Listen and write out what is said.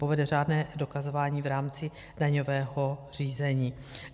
Povede řádné dokazování v rámci daňového řízení.